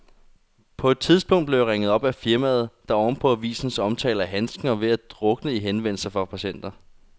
På et tidspunkt blev jeg ringet op af firmaet, der oven på avisens omtale af handsken var ved at drukne i henvendelser fra patienter.